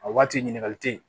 A waati ɲininkali tɛ yen